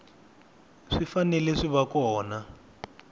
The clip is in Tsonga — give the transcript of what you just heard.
swi fanele swi va kona